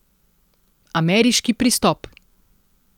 Ameriški pristop.